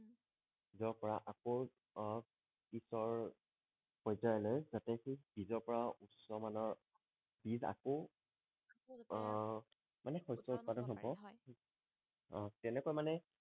আকৌ আহ পিছৰ পৰ্যায়লৈ যাতে সেই বীজৰ পৰাও উচ্চমানৰ বীজ আকৌ আহ মানে শস্য উৎপাদন হব পাৰে হয় আহ তেনেকুৱা মনে